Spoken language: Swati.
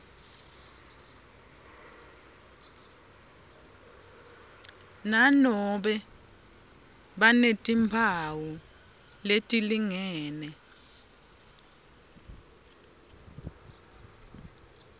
nanobe banetimphawu letilingene